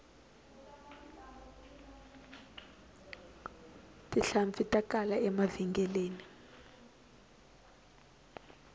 tihlampfi ta kala emavhengeleni